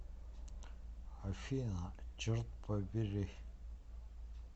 афина черт побери